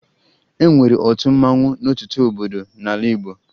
E nwere otu mmanwụ n'ọtụtụ obodo n'ala Igbo